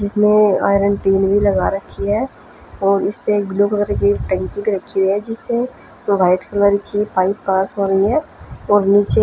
इसमें iron tin भी लगा रखी है और इसमें ब्लू कलर की टंकी भी रखी है जिसे वाइट कलर की पाइप पास हो रही है और नीचे--